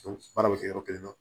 Baara bɛ kɛ yɔrɔ kelen na